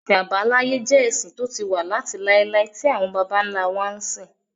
Ẹ̀sìn àbáláyé jẹ́ ẹ̀sìn tó ti wà láti láíláí tí àwọn bàbá ńlá wa ń sìn